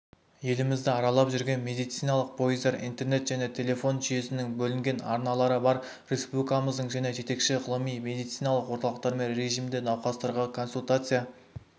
елімізді аралап жүрген медициналық пойыздар интернет және телефон жүйесінің бөлінген арналары бар республикамыздың және жетекші ғылыми медициналық орталықтарымен режимінде науқастарға консультация